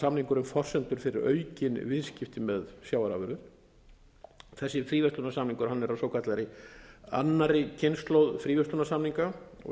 skapar samningurinn forsendur fyrir aukin viðskipti með sjávarafurðir þessi fríverslunarsamningur er af svokallaðri annarri kynslóð fríverslunarsamninga og